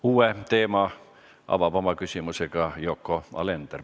Uue teema avab oma küsimusega Yoko Alender.